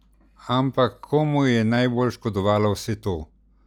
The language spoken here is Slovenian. Ampak komu je najbolj škodovalo vse to?